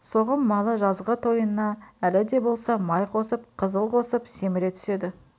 соғым малы жазғы тойынына әлі де болса май қосып қызыл қосып семіре түседі